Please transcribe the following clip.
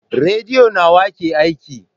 Rediyo nawa ke aiki?